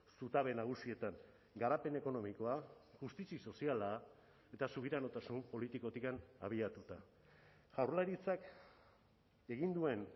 zutabe nagusietan garapen ekonomikoa justizia soziala eta subiranotasun politikotik abiatuta jaurlaritzak egin duen